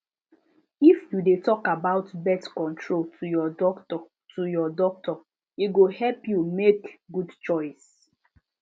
if you de talk about birth control to your doctor to your doctor e go help you make good choice